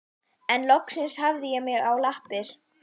En loksins hafði ég mig á lappir.